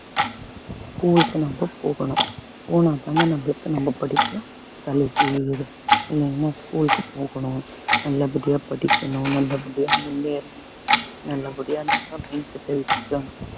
school க்கு நம்ம போகணும் போனாதாங்க நம்மளுக்கு நம்ம படிப்பு தலைக்கு ஏறும் இல்லைங்களா school க்கு போகணும் நல்லபடியா படிக்கணும் நல்லபடியா முன்னேறணும் நல்லபடியா நம்ம mind set அ வச்சுக்கணும்